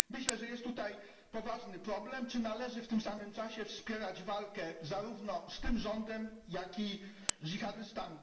Myślę, że jest tutaj poważny problem, czy należy w tym samym czasie wspierać walkę zarówno z tym rządem, jak i dżihadystami.